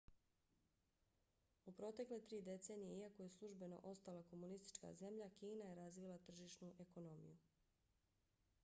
u protekle tri decenije iako je službeno ostala komunistička zemlja kina je razvila tržišnu ekonomiju